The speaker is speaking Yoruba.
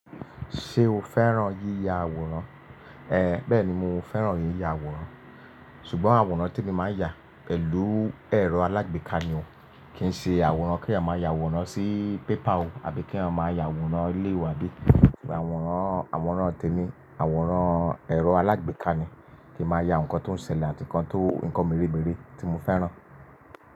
Ṣé o fẹ́ràn yíya àwòrán? Ẹ̀ bẹ́ẹ̀ni mo fẹ́ràn yíya àwòrán. Ṣùgbọ́n àwòrán tí emi máa ń yà pẹ̀lú ẹ̀rọ alágbèéká ni o. Kì í ṣe àwòrán kí eeyan máa yà àwòrán sí pépà o àbí kí eeyan máa yà àwòrán ilé ábí. Àwòrán, àwòrán tèmi, àwòrán ẹ̀rọ alágbèéká ni. Kí n máa ya ǹnkan tó ń ṣẹlẹ̀ àti ǹnkan tó ǹnkan mèremère tí mo fẹ́ràn.